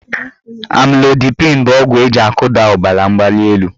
Amlodipịn bụ ọgwụ eji akụda ọbaramgbalịelu